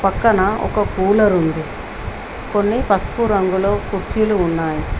పక్కన ఒక కూలరు ఉంది కొన్ని పసుపు రంగులో కుర్చీలు ఉన్నాయి.